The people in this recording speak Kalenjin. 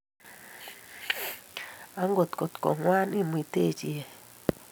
Angot ko ngwan imutechi eeh